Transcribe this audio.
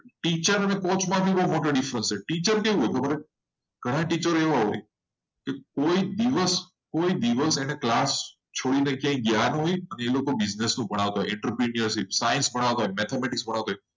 teacher અને coach માં બહુ difference teacher એવો હોય ઘણા ટીચરો એવા હોય. કોઈ દિવસ કોઈ દિવસ ક્લાસ છોડીને ગયા ના હોય અને એ લોકો business નો ભણાવતા હોય. interpression science ણાવતા હોય.